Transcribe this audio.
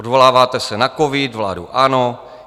Odvoláváte se na covid, vládu ANO.